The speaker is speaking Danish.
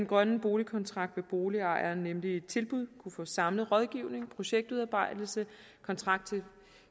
grønne boligkontrakt vil boligejere nemlig i ét tilbud kunne få samlet rådgivning projektudarbejdelse kontakt